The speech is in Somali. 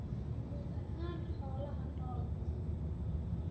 guud ahaan xoolaha nool.